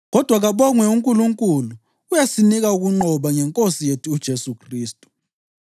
Kodwa kabongwe uNkulunkulu! Uyasinika ukunqoba ngeNkosi yethu uJesu Khristu.